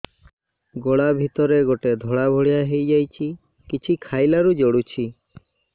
ଗଳା ଭିତରେ ଗୋଟେ ଧଳା ଭଳିଆ ହେଇ ଯାଇଛି କିଛି ଖାଇଲାରୁ ଜଳୁଛି